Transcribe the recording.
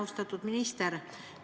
Austatud minister!